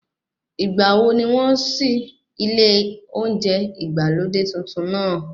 Ìgbàwo ni wọ́n ṣí ilé oúnjẹ ìgbàlódé tuntun náà?